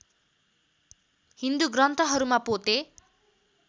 हिन्दू ग्रन्थहरूमा पोते